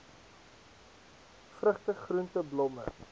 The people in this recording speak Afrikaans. vrugte groente blomme